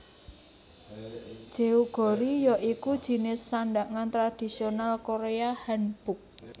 Jeogori ya iku jinis sandhangan tradisional Korea Hanbok